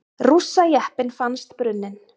Rússajeppinn fannst brunninn